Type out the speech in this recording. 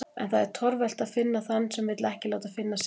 En það er torvelt að finna þann sem vill ekki láta finna sig.